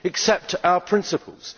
Accept our principles.